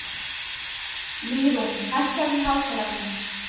Mýrún, hækkaðu í hátalaranum.